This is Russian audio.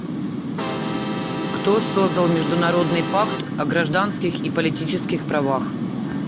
кто создал международный пакт о гражданских и политических правах